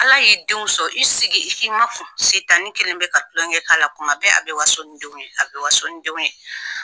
Ala y'i denw sɔn i sigi i k'i makun Sitani kɛlen bɛ ka tulonkɛ k'a la kuma bɛɛ a bɛ waso ni denw ye a bɛ waso ni denw ye.